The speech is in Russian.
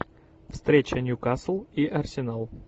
встреча ньюкасл и арсенал